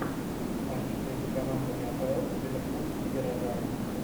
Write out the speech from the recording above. матч между командами апл ливерпуль и горожане